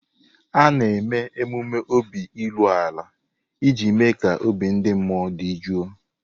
A na-eme emume obi iru ala iji mee ka obi ndị mmụọ dị jụụ.